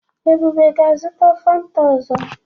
Ebube ga-azụta Fanta ọzọ.